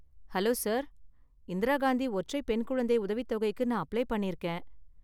Hello sir, Indira Gandhi ஒற்றைப் பெண் குழந்தை உதவித் தொகைக்கு நான் அப்ளை பண்ணிருக்கேன்.